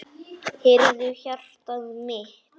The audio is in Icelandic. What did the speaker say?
Heyrðu, hjartað mitt.